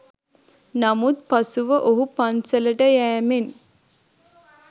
නමුත් පසුව ඔහු පන්සලට යෑමෙන්